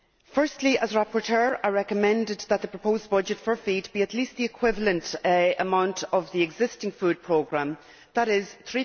Firstly, as rapporteur I recommended that the proposed budget for FEAD be at least the equivalent amount of the existing food programme, that is EUR